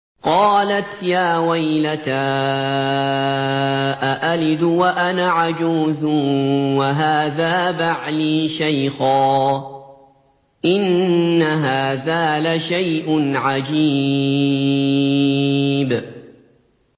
قَالَتْ يَا وَيْلَتَىٰ أَأَلِدُ وَأَنَا عَجُوزٌ وَهَٰذَا بَعْلِي شَيْخًا ۖ إِنَّ هَٰذَا لَشَيْءٌ عَجِيبٌ